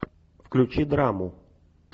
включи драму